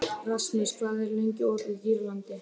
Rasmus, hvað er lengi opið í Dýralandi?